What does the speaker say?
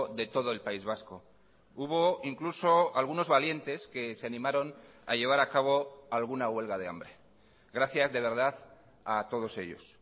de todo el país vasco hubo incluso algunos valientes que se animaron a llevar a cabo alguna huelga de hambre gracias de verdad a todos ellos